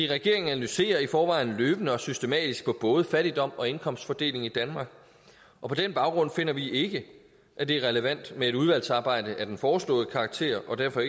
regeringen analyserer i forvejen løbende og systematisk både fattigdom og indkomstfordeling i danmark og på den baggrund finder vi ikke at det er relevant med et udvalgsarbejde af den foreslåede karakter og derfor